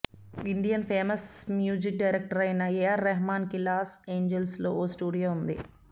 Indian famous music director అయిన A R Rahman కి Los Angeles లో ఓ స్టూడియో ఉంది